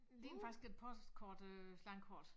Det ligner faktisk et postkort øh landkort